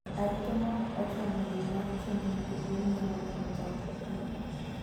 Arita ma ok ochomo yo mar chiemb nyithi gwen nyalo medo thoo gi.